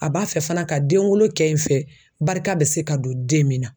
A b'a fɛ fana ka denwolo kɛ n fɛ barika bɛ se ka don den min na